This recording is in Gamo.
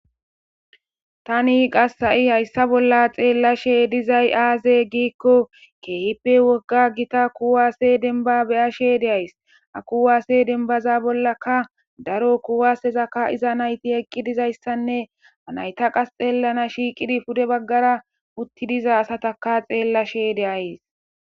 Tani qas ha'i hayssa bolla xeellashe dizay aaze giikko keehippe wogga gita kuwaasse denba be'ashe de'ays ha kuwaase denbaza bollaka daro kuwasezaka kaa'iza nayti eqqi dizayssanne ha nayta qas xeellana shiiqidi pude baggara utti diza asataka xeellashe de'ays.